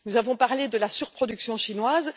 Nous avons parlé de la surproduction chinoise.